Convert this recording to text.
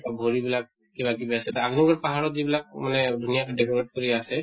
ভৰি বিলাক কিবা কিবি আছে ডাঙৰ পাহাৰত যিবিলাক মানে ধুনীয়াকে decorate কৰি আছে